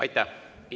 Aitäh!